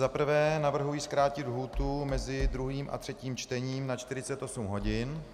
Za prvé navrhuji zkrátit lhůtu mezi druhým a třetím čtením na 48 hodin.